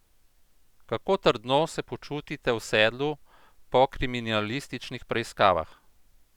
Kako trdno se počutite v sedlu po kriminalističnih preiskavah?